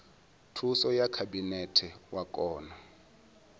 thuso ya khabinete wa kona